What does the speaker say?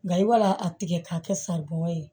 Nka i b'a a tigɛ k'a kɛ san bɔ ye